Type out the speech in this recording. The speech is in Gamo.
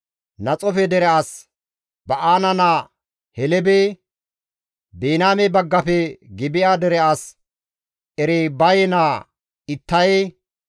Naxoofe dere as Ba7aana naa Helebe, Biniyaame baggafe Gibi7a dere as Eribaye naa Ittaye,